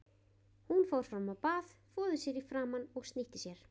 Hún fór fram á bað, þvoði sér í framan og snýtti sér.